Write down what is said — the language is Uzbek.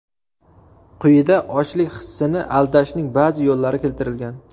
Quyida ochlik hissini aldashning ba’zi yo‘llari keltirilgan.